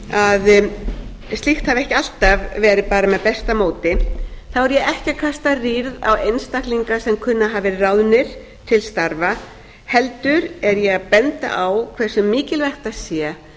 að slíkt hafi ekki alltaf verið bara með besta móti þá er ég ekki að kasta rýrð á einstaklinga sem kunna að hafa verið ráðnir til starfa heldur er ég að benda á hversu mikilvægt það sé